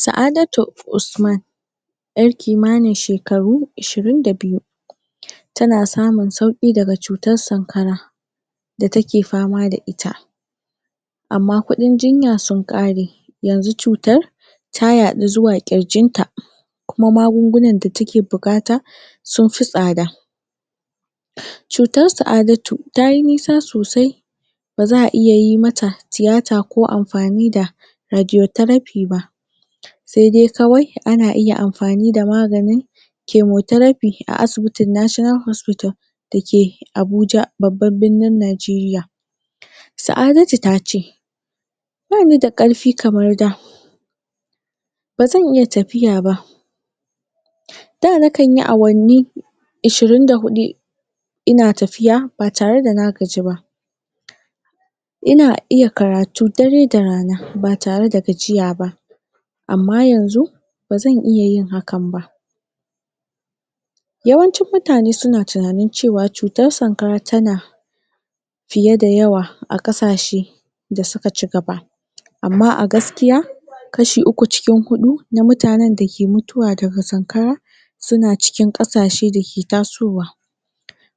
sa'adat usman yar kimanin shekaru ishirin da bkyu tana samun sauki daga cutan sankara da take fama da ita amma kudin jinya sun kare yanxu cutar ta yadu zuwa kirjinta kuma magungunan da take bukata sun fi tsada cutar saadatu tayi nisa sosai baza a iya yi mata tiyata ko amfani da radiotheraphy ba se dai kawai ana iya amfani da maganin chemotheraphy a asibitin national hospital dake abuja da ke babban birnin najeriya saadatu tace bani da karfi kamar da ba zan iya tafiya ba da na kanyi awanni ishirin da hudu ina tafiya batare da na gaji ba ina iya karatu dare da rana ba tare da gajiya ba amma yanxu ba zan iya yin hakan ba yawancin mutane suna tunanin cutar sankara tana fiye da yawa a kasashe da suka chigaba amma a gaskiya kashi uku cikin hudu na mutanen da ke mutuwa daga sankara suna cikin kasashe dake tasowa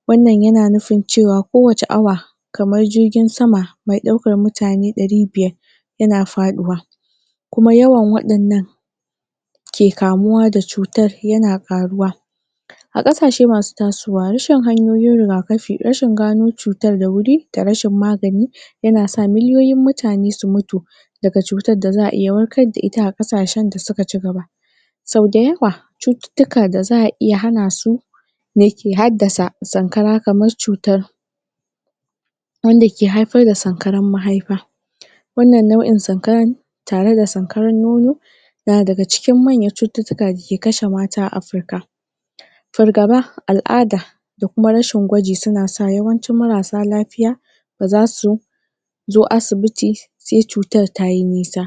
wannan yana nufin cewa ko wace awa kamar jirgin sama me daukan mutane dari biyar yana faduwa kuma yawan wadannan ke kamuwa da cutar yana faruwa a kasashe masu tasowa rashin hanyoyin rigakafi rashin gano cutan da wuri da rashin magani yanasa miliyoyin mutane su mutu daga cutar da xaa iya wakar da ita a kasashen da suka chigaba sau da yawa cututtuka da zaa iya hanasu dake haddasa sankara kamar cutar wanda ke haifar da sankaran mahaifa wannan nau'in sankaran tare da sankaran nono na daga cikin manya manyan cututtuka dake kashe mata a africa fargaba al'ada da kuma rashin gwaji suna sa yawancin marasa lafiya bazasu su zo asibiti sai cutar tayi nisa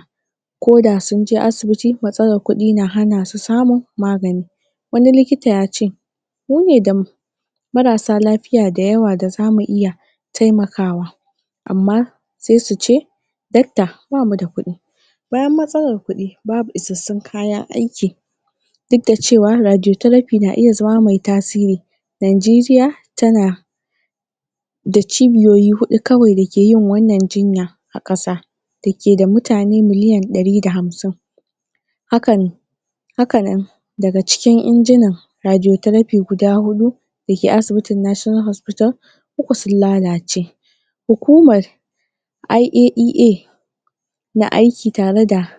ko da sunje asibiti matsalar kudi na hanasu samun magani wani likita yace mune da marasa lafiya da yawa da zamu iya taimakawa amma sai suce dakta bamu da kudi bayan matsalan kudi babu isassun kayan aiki duk da cewa radiotheraphy na iya zama me tasiri nijeriya tana da chibiyoyi hudu dake yin wannan jinya a kasa da ke da mutane miliyan dari da hamsin hakan hakanan daga cikin injinan radiotheraphy guda hudu dake asibitin national hospital duka sun lalace hukumar IAEA na aiki tare da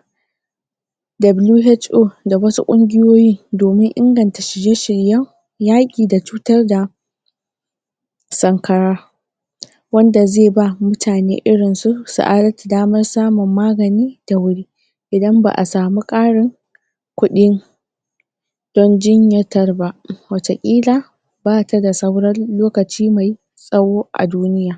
WHO da wasu kungiyoyi domin inganta shirye shiryen yaki da cutar da sankara wanda zai ba mutane irinsu saadatu damar magani da wuri idan baa samu akrin kudin don jinyatar ba watakila bata da sauran lokaci me me tsawo a duniya